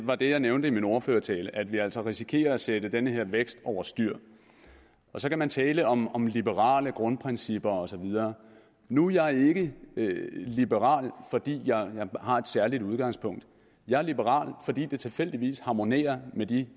og det jeg nævnte i min ordførertale var at vi altså risikerer at sætte den her vækst over styr så kan man tale om om liberale grundprincipper og så videre nu er jeg ikke liberal fordi jeg har et særligt udgangspunkt jeg er liberal fordi det tilfældigvis harmonerer med de